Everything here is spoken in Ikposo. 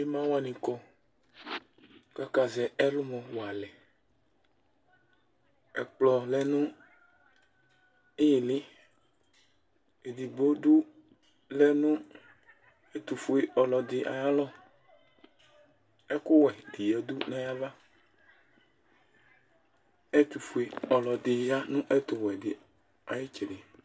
Ɩma wanɩ kɔ, kakazɛ ɛlʋmɔ walɛƐkplɔ lɛ nʋ ɩɩlɩ;edigbo lɛ nʋ ɛtʋ fue ɔlɔdɩ ayalɔ, ɛkʋ wɛ dɩ yǝdu nayavaƐtʋ fue ɔlɔdɩ ya nʋ ɛtʋ wɛ dɩ ayɩtsɛdɩ